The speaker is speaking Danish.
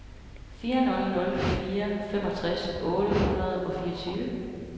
fire nul nul fire femogtres otte hundrede og fireogtyve